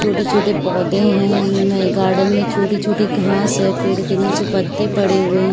छोटे-छोटे पोधें हैं उनमें गार्डन में छोटी-छोटी घास हैँ पेड़ के नीचे पत्ते पड़े हुए ह --